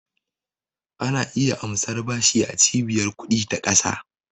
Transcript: Ana iya amsar bashi a Cibiyar ƙudi ta ƙasa.